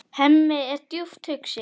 Hemmi er djúpt hugsi.